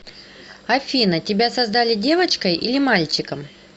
афина тебя создали девочкой или мальчиком